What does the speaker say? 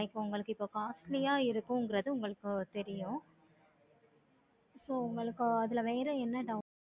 இப்போ உங்களுக்கு costly யா இருக்குங்கிறது உங்களுக்கு தெரியும். so உங்களுக்கு அதுல வேற வேலை